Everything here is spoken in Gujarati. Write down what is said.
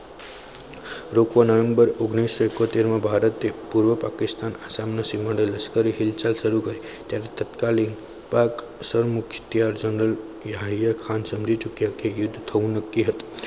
લોકોની અંદર ઓગણીસો ઈકોતેર માં ભારતે પૂર્વ પાકિસ્તાનની સીમા લશ્કરે હિંસા શરૂ કરી તેમાં તત્કાલીક સરમુખત્યારશાહી હૈ હૈ યુદ્ધ થવું નક્કી હતું